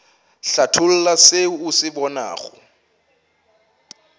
hlatholla se o se bonago